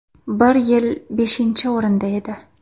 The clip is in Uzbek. Bir yil beshinchi o‘rinda edi.